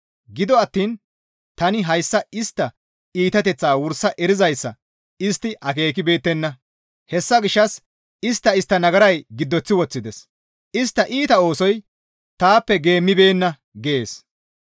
Gido attiin tani hayssa istta iitateththaa wursa erizayssa istti akeekibeettenna. Hessa gishshas istta istta nagaray giddoththi woththides; istta iita oosoy taappe geemmibeenna» gees.